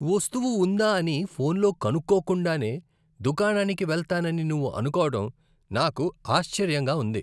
వస్తువు ఉందా అని ఫోన్లో కనుక్కోకుండానే దుకాణానికి వెళ్తానని నువ్వు అనుకోవడం నాకు ఆశ్చర్యంగా ఉంది.